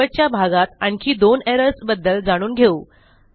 शेवटच्या भागात आणखी दोन एरर्स बद्दल जाणून घेऊ